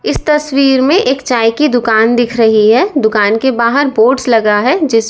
इस तस्वीर में एक चाय की दुकान दिख रही है दुकान के बाहर बोर्ड्स लगा है जिस--